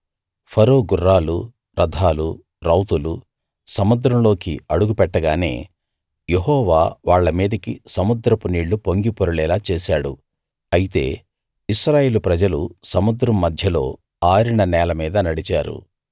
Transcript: ఫరో గుర్రాలు రథాలు రౌతులు సముద్రంలోకి అడుగుపెట్టగానే యెహోవా వాళ్ళ మీదికి సముద్రపు నీళ్ళు పొంగిపొరలేలా చేశాడు అయితే ఇశ్రాయేలు ప్రజలు సముద్రం మధ్యలో ఆరిన నేల మీద నడిచారు